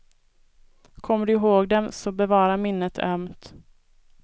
Kommer du ihåg dem, så bevara minnet ömt.